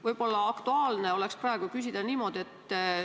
Võib-olla oleks aktuaalne küsida praegu niimoodi.